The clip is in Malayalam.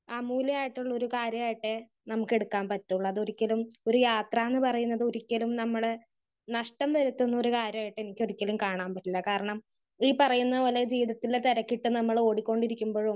സ്പീക്കർ 1 ഏഹ്‌ മൂല്യമായിട്ടുള്ള ഒരു കാര്യമായിട്ടേ നമുക്ക് എടുക്കാൻ പറ്റൊള്ളൂ. അത് ഒരിക്കലും ഒരു യാത്ര എന്ന് പറയുന്നത് ഒരിക്കലും നമ്മള് നഷ്ട്ടം വരുത്തുന്ന ഒരു കാര്യമായിട്ട് എനിക്കൊരിക്കലും കാണാൻ പറ്റില്ല. കാരണം ഈ പറയുന്നത് പോലെ ജീവിതത്തിൽ തിരക്കിട്ട് നമ്മൾ ഓടിക്കൊണ്ടിരിക്കുമ്പൊഴും,